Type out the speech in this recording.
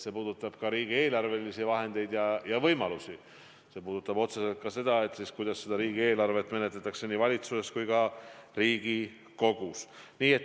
See puudutab riigieelarve võimalusi ja see puudutab otseselt ka seda, kuidas riigieelarvet menetletakse nii valitsuses kui ka Riigikogus.